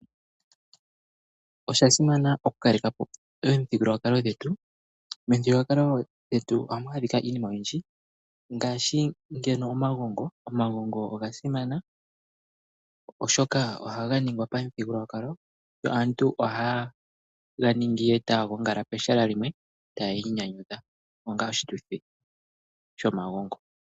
Oshasimana oku kalekapo omithigululwakalo dhetu . Momuthigululwakalo gwetu ohamukala iinima oyindji ngaashi omagongo. Omagongo oga simana oshoka ohaga ni gwa pamuthigululwakalo. Aantu ohayega ningi etaya gongala pehala limwe taya inyanyadhu obga oshituthi shomagongo.